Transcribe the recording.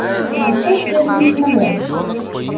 ты большой серебряный самолёт